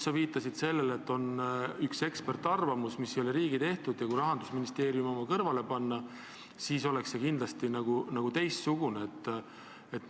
Sa viitasid sellele, et on üks eksperdiarvamus, mis ei ole riigi koostatud, ja kui Rahandusministeeriumi oma kõrvale panna, siis see on kindlasti teistsugune.